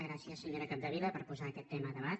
gràcies senyora capdevila per posar aquest tema a debat